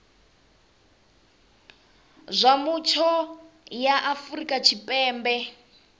zwa mutsho ya afrika tshipembe